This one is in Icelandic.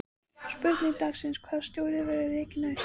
Spurning dagsins: Hvaða stjóri verður rekinn næst?